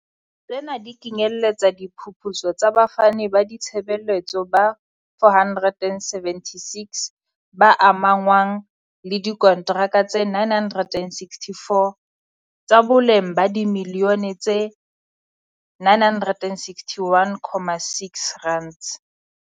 Tsena di kenyeletsa diphuputso tsa bafani ba ditshebeletso ba 476, ba amahanngwang le diko ntraka tse 964, tsa boleng ba dimiliyone tse R961.6.